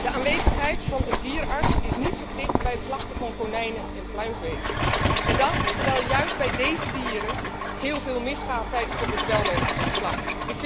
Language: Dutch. De aanwezigheid van een dierenarts is niet verplicht bij het slachten van konijnen en pluimvee. En dat terwijl juist bij deze dieren heel veel misgaat tijdens de bedwelming en de slacht.